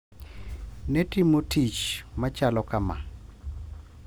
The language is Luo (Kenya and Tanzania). Ne timo tich machalo kama.